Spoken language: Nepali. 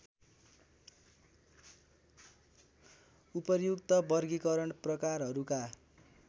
उपर्युक्त वर्गीकरण प्रकारहरूका